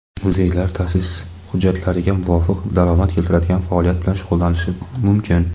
muzeylar taʼsis hujjatlariga muvofiq daromad keltiradigan faoliyat bilan shug‘ullanishi mumkin.